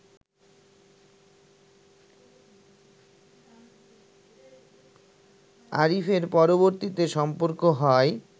আরিফের পরবর্তীতে সম্পর্ক হয়